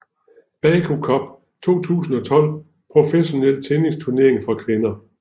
Baku Cup 2012 professionel tennisturnering for kvinder